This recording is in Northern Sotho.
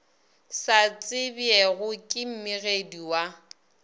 sa tsebjego ke mmegedi wa